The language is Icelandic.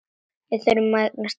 Þá þurfum við engan tíkall!